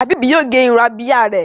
Habib yíò gé Irun Abíyá rẹ.